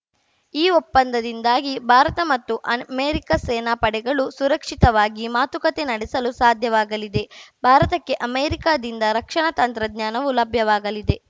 ಈ ಒಪ್ಪಂದದಿಂದಾಗಿ ಭಾರತ ಮತ್ತು ಅನ್ ಮೆರಿಕ ಸೇನಾ ಪಡೆಗಳು ಸುರಕ್ಷಿತವಾಗಿ ಮಾತುಕತೆ ನಡೆಸಲು ಸಾಧ್ಯವಾಗಲಿದೆ ಭಾರತಕ್ಕೆ ಅಮೆರಿಕದಿಂದ ರಕ್ಷಣಾ ತಂತ್ರಜ್ಞಾನವೂ ಲಭ್ಯವಾಗಲಿದೆ